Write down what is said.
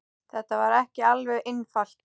Þetta var ekki alveg einfalt